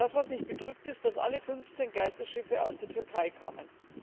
Was mich bedrückt, ist, dass alle 15 Geisterschiffe aus der Türkei kamen.